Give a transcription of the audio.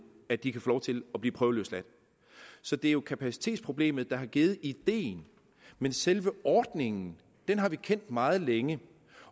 at de kan få lov til at blive prøveløsladt så det er jo kapacitetsproblemet der har givet ideen men selve ordningen har vi kendt meget længe